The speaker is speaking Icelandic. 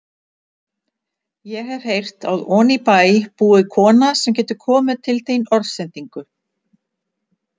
Ég hef heyrt að oní bæ búi kona sem getur komið til þín orðsendingu.